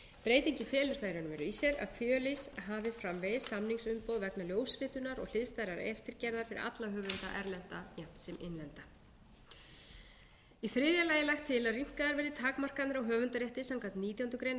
breytingin felur það í raun og veru í sér að fjölís hafi framvegis samningsumboð vegna ljósritunar og hliðstæðrar eftirgerðar fyrir alla höfunda erlenda jafnt sem innlenda í þriðja lagi er lagt til að rýmkaðar verði takmarkanir á höfundarétti samkvæmt nítjánda grein laganna í þágu notenda sem ekki geta nýtt sér venjulegt